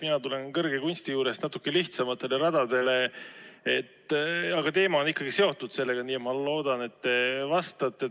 Mina tulen kõrge kunsti juurest natuke lihtsamatele radadele, aga teema on ikkagi sellega seotud, nii et ma loodan, et te vastate.